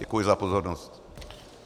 Děkuji za pozornost.